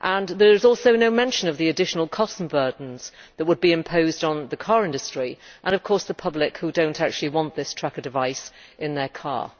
There is also no mention of the additional costs and burdens that would be imposed on the car industry and, of course, on the public, who may not actually want this tracker device in their car.